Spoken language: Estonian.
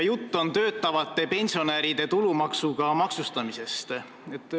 Jutt on töötavate pensionäride tulumaksuga maksustamisest.